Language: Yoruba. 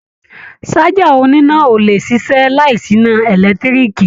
Ṣájà oníná ò lè ṣiṣẹ́ láìsí iná ẹ̀lẹ́tíríìkì